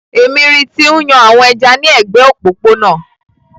Èmi ri ti ń yan àwọn ẹja ni ẹ̀gbẹ́ òpópónà.